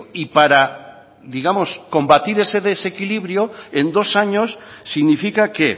y para digamos combatir ese desequilibrio en dos años significa que